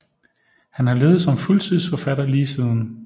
Han har levet som fuldtidsforfatter lige siden